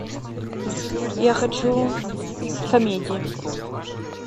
я хочу комедии